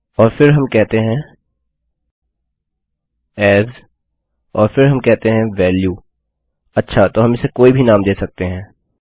और फिर हम कहते हैं एएस और फिर हम कहते हैं valueअच्छा तो हम इसे कोई भी नाम दे सकते हैं